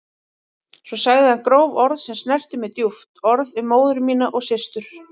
Svo sagði hann gróf orð sem snertu mig djúpt, orð um móður mína og systur.